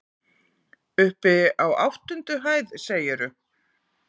Uppi á áttundu hæð, segirðu?